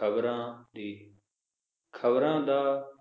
ਖਬਰਾਂ ਦੀ ਖਬਰਾਂ ਦਾ